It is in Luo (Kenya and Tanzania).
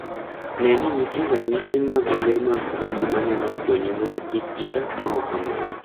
Ne ni nitie ranyisi mag le mag bungu ma nyalo konyi mondo kik ichak timo kamano.